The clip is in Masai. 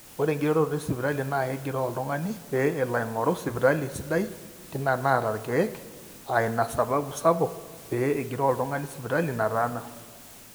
ore eng'iroroto esipitali naa egiroo oltung'ani pee elo aing'oru sipitali sidai tina naata irkeek, aa ina sababu sapuk pee egiroo oltung'ani sipitali nataana